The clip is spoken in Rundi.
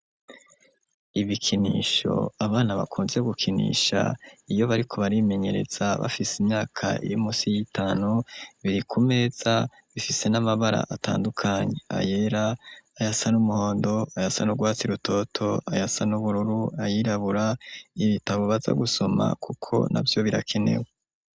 Ibikinisho abana bakunze gukinisha iyo bariko barimenyereza bafise imyaka irimusi y'itanu, biri ku meza bifise n'amabara atandukanye: ayera, ayasa n'umuhondo, ayasa n'urwatsi rutoto, ayasa n'ubururu, ayirabura, ibitabo baza gusoma kuko navyo birakenewe.